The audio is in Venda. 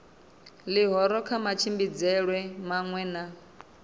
ḽihoro kha matshimbidzelwe maṅwe na